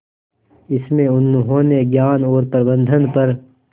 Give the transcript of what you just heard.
इसमें उन्होंने ज्ञान और प्रबंधन पर